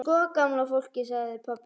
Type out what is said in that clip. Sko gamla fólkið sagði pabbi.